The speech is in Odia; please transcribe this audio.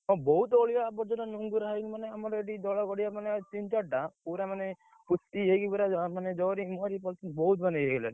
ହଁ, ବହୁତ ଅଳିଆ ଆବର୍ଜନା ଆମର ଏଠି ଦଳ ଗଡିଆ ମାନେ ତିନି ଚାରିଟା, ମାନେ, ପୋତି ହେଇକିରି ପୁରା ବହୁତ ମାନେ ପୁରା ଇଏ ହେଇ ଗଲାଣି,